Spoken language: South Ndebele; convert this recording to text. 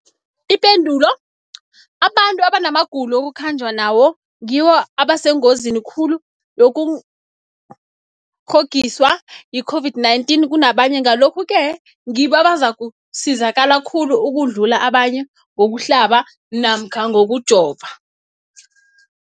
Ipendulo, abantu abanamagulo ekukhanjwa nawo ngibo abasengozini khulu yokukghokghiswa yi-COVID-19 kunabanye, Ngalokhu-ke ngibo abazakusizakala khulu ukudlula abanye ngokuhlaba namkha ngokujova.